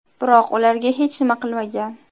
Biroq ularga hech nima qilmagan.